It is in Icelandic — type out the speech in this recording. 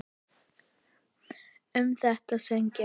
Um þetta söng ég